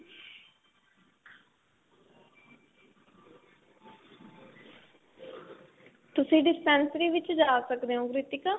ਤੁਸੀਂ dispensary ਵਿੱਚ ਜਾ ਸਕਦੇ ਓ ਕ੍ਰਿਤਿਕਾ